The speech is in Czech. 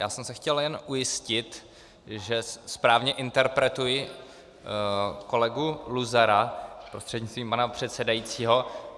Já jsem se chtěl jen ujistit, že správně interpretuji kolegu Luzara prostřednictvím pana předsedajícího.